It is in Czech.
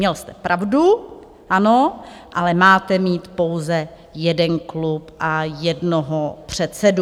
Měl jste pravdu, ano, ale máte mít pouze jeden klub a jednoho předsedu.